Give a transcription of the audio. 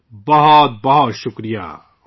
بہت بہت شکریہ !